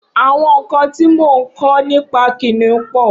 Awọn nkãn ti mó n kọ̀ nipà kiniùn pọ